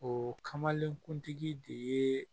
O kamalenkuntigi de yee